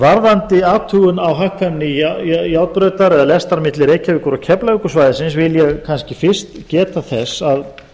varðandi athugun á hagkvæmni járnbrautar eða lestar milli reykjavíkur og keflavíkursvæðisins vil ég kannski fyrst geta þess að